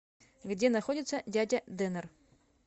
где находится дядя денер